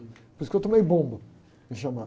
Por isso que eu tomei bomba em chamada